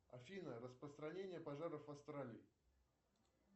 афина распространение пожаров в австралии